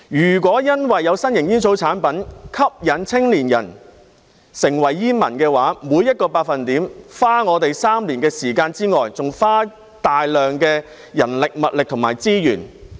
如果因為有新型煙草產品吸引青年人成為煙民，除了每減少 1% 便要花3年的時間外，還要花大量的人力物力和資源。